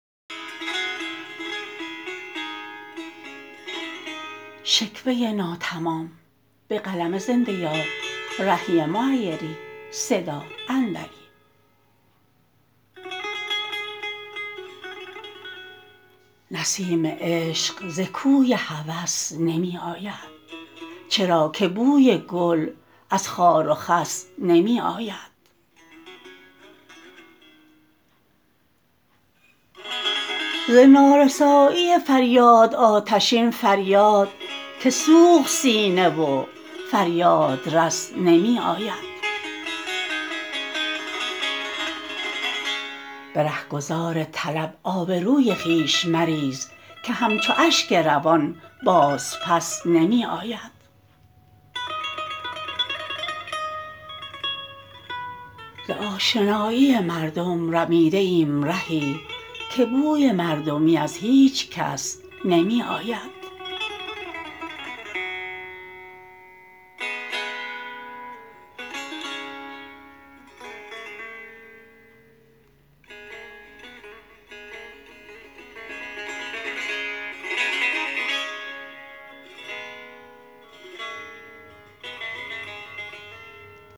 نسیم عشق ز کوی هوس نمی آید چرا که بوی گل از خار و خس نمی آید ز نارسایی فریاد آتشین فریاد که سوخت سینه و فریادرس نمی آید به رهگذار طلب آبروی خویش مریز که همچو اشک روان باز پس نمی آید ز آشنایی مردم رمیده ایم رهی که بوی مردمی از هیچ کس نمی آید